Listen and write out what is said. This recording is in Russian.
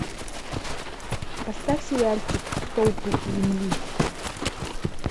поставь сериальчик столпы земли